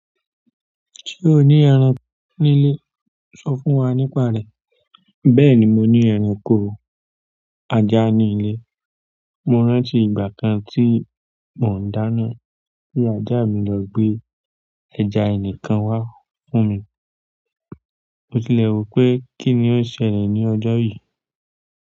Ṣé o ní ẹran nílé? Sọ fún wa nípa rẹ̀. Bẹ́ẹ̀ni, mo ní ẹranko ajá ní ilé. Mo rántí ìgbà kan tí mò ń dáná tí ajá mi lọ gbé ẹja ẹnìkan wá fún mi. Mo tilẹ̀ rò pé kí ni ó ṣẹlẹ̀ ní ọjọ́ yìí.